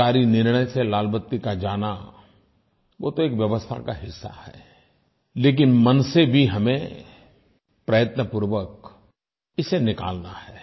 सरकारी निर्णय से लाल बत्ती का जाना वो तो एक व्यवस्था का हिस्सा है लेकिन मन से भी हमें प्रयत्नपूर्वक इसे निकालना है